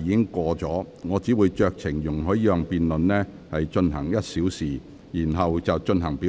限已過，我只會酌情容許議員辯論這項中止待續議案1小時，然後便會進行表決。